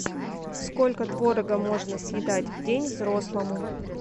сколько творога можно съедать в день взрослому